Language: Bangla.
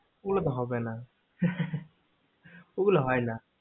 ওগুলো হয় না আর হবে না